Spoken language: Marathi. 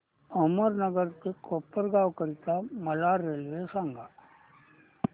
अहमदनगर ते कोपरगाव करीता मला रेल्वे सांगा